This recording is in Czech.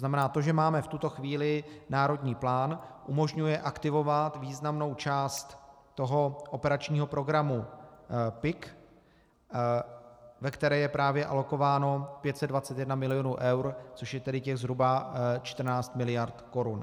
Znamená to, že máme v tuto chvíli národní plán, umožňuje aktivovat významnou část toho operačního programu PIK, ve které je právě alokováno 521 milionů eur, což je tedy těch zhruba 14 miliard korun.